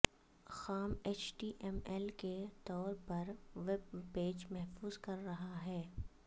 خام H T M L کے طور پر ویب پیج محفوظ کر رہا ہے